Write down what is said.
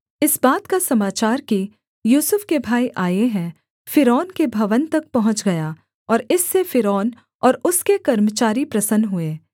इस बात का समाचार कि यूसुफ के भाई आए हैं फ़िरौन के भवन तक पहुँच गया और इससे फ़िरौन और उसके कर्मचारी प्रसन्न हुए